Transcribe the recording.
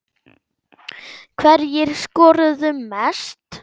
Hverjir skoruðu mest?